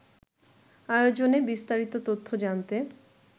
আয়োজনে বিস্তারিত তথ্য জানতে